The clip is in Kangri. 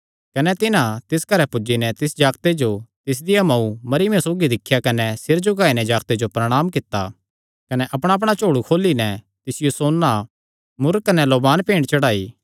कने तिन्हां तिस घरैं पुज्जी नैं तिस जागते जो तिसदिया मांऊ मरियमा सौगी दिख्या कने सिर झुकाई नैं जागते जो प्रणांम कित्ता कने अपणाअपणा झोल़ु खोली नैं तिसियो सोन्ना मुर्र कने लोबान भेंट चढ़ाई